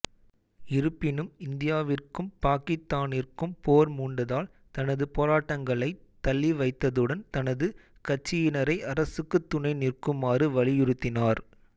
இருப்பினும் இந்தியாவிற்கும் பாக்கித்தானிற்கும் போர் மூண்டதால் தனது போராட்டங்களைத் தளிவைத்ததுடன் தனது கட்சியினரை அரசுக்குத் துணை நிற்குமாறு வலியுறுத்தினார்